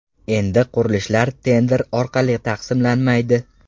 Endi qurilishlar tender orqali taqsimlanmaydi.